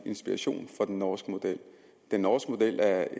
inspiration fra den norske model den norske model er